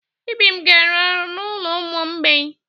Ibim ga-arụ ọrụ n'ụlọ ụmụ mgbei.